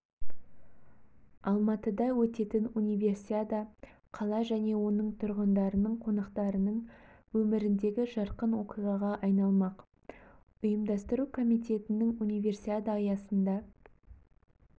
алматыда өтетін универсиада қала және оның тұрғындарының қонақтарының өміріндегі жарқын оқиғаға айналмақ ұйымдастыру комитетінің универсиада аясында